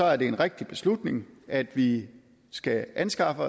er det en rigtig beslutning at vi skal anskaffe